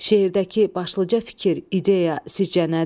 Şeirdəki başlıca fikir, ideya sizcə nədir?